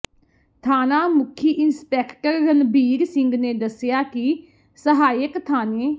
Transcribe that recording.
ਥਾਣਾ ਮੁਖੀ ਇੰਸਪੈਕਟਰ ਰਣਬੀਰ ਸਿੰਘ ਨੇ ਦੱਸਿਆ ਕਿ ਸਹਾਇਕ ਥਾਣੇ